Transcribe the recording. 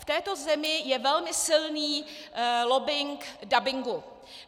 V této zemi je velmi silný lobbing dabingu.